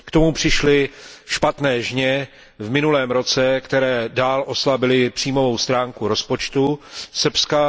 K tomu přišly špatné žně v minulém roce, které dál oslabily příjmovou stránku rozpočtu Srbska.